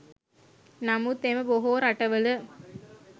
නමුත් එම බොහෝ රටවල